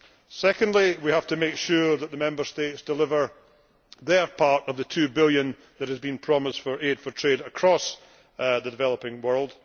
Furthermore, we have to make sure that the Member States deliver their part of the EUR 2 billion that has been promised for aid for trade' across the developing world.